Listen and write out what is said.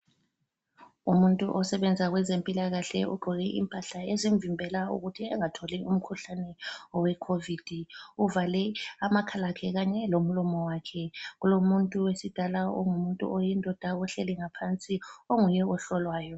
Umuntu osebenza kwezempilakahle ugqoke impahla ezimvimbela ukuthi angatholi umkhuhlane owe Covid. Uvale amakhala akhe kanye lomlomo wakhe. Kulomuntu wesi Ghana ongumuntu oyindoda ohleli ngaphansi onguye ohlolwayo